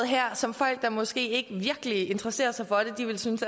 her som folk der måske ikke virkelig interesserer sig for det ville synes